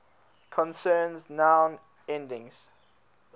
concerns noun endings